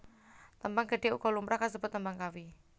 Tembang Gedhe uga lumrah kasebut Tembang Kawi